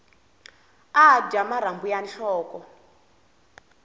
a dya marhambu ya nhloko